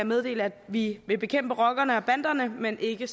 meddele at vi vil bekæmpe rockerne og banderne men ikke